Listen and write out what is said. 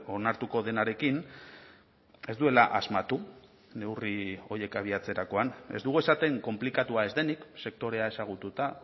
onartuko denarekin ez duela asmatu neurri horiek abiatzerakoan ez dugu esaten konplikatua ez denik sektorea ezagututa